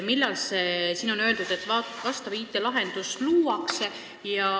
Siin on öeldud, et luuakse vastav IT-lahendus.